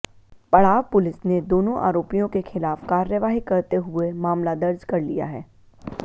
पड़ाव पुलिस ने दोनों आरोपियों के खिलाफ कार्यवाही करते हुये मामला दर्ज कर लिया है